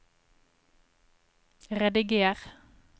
rediger